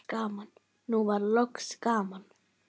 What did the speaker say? Nú var loksins gaman.